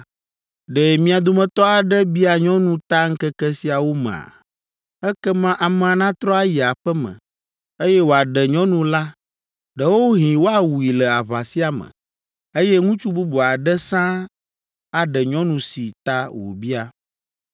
Ɖe mia dometɔ aɖe bia nyɔnu ta ŋkeke siawo mea? Ekema amea natrɔ ayi aƒe me, eye wòaɖe nyɔnu la. Ɖewohĩ woawui le aʋa sia me, eye ŋutsu bubu aɖe sãa aɖe nyɔnu si ta wòbia.